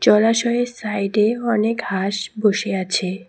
জলাশয়ের সাইডে অনেক হাঁস বসে আছে।